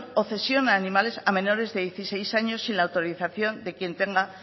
o cesión a animales a menores de dieciséis años sin autorización de quien tenga